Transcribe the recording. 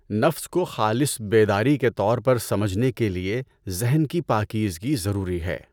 نفس کو خالص بیداری کے طور پر سمجھنے کے لیے ذہن کی پاکیزگی ضروری ہے۔